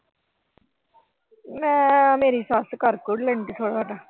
ਮੈਂ ਅਹ ਮੇਰੀ ਸੱਸ ਕਰ ਕੂਰ ਲੈਂਦੀ ਥੋੜਾ ਬਹੁਤਾ।